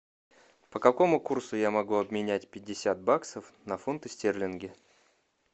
по какому курсу я могу обменять пятьдесят баксов на фунты стерлинги